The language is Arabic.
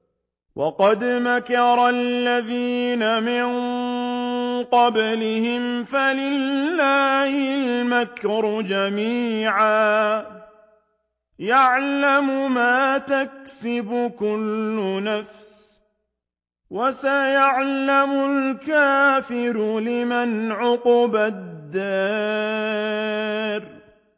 وَقَدْ مَكَرَ الَّذِينَ مِن قَبْلِهِمْ فَلِلَّهِ الْمَكْرُ جَمِيعًا ۖ يَعْلَمُ مَا تَكْسِبُ كُلُّ نَفْسٍ ۗ وَسَيَعْلَمُ الْكُفَّارُ لِمَنْ عُقْبَى الدَّارِ